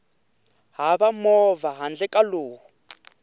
hava movha handle ka lowu